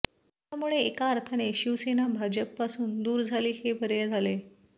त्यामुळे एका अर्थाने शिवसेना भाजपपासून दूर झाली हे बरे झाले